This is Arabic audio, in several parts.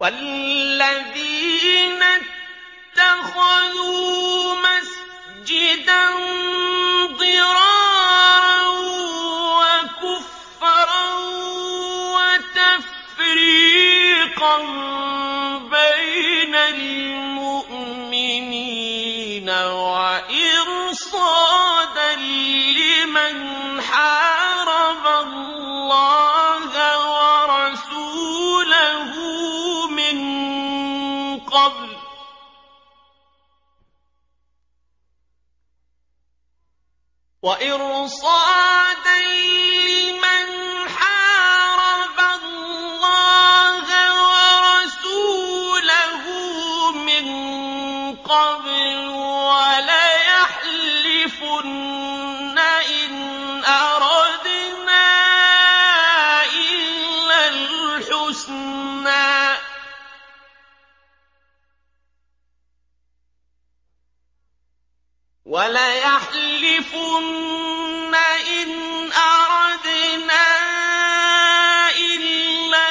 وَالَّذِينَ اتَّخَذُوا مَسْجِدًا ضِرَارًا وَكُفْرًا وَتَفْرِيقًا بَيْنَ الْمُؤْمِنِينَ وَإِرْصَادًا لِّمَنْ حَارَبَ اللَّهَ وَرَسُولَهُ مِن قَبْلُ ۚ وَلَيَحْلِفُنَّ إِنْ أَرَدْنَا إِلَّا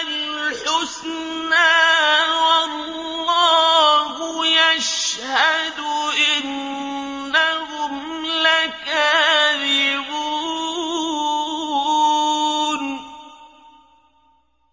الْحُسْنَىٰ ۖ وَاللَّهُ يَشْهَدُ إِنَّهُمْ لَكَاذِبُونَ